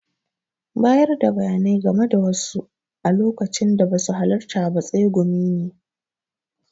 Bayarda bayanai game da wasu a lokacin da basu halarta ba tsegumi ne.